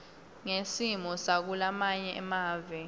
ngesimo sakulamanye mave